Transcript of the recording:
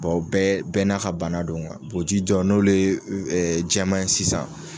Bɔn o bɛɛ bɛɛ n'a ka bana don kuwa bo ji jo n'olu i e jɛman ye sisan